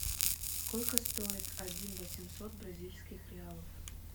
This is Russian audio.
сколько стоит один восемьсот бразильских реалов